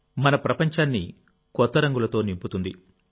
మన ప్రపంచాన్ని కొత్త రంగులతో నింపుతుంది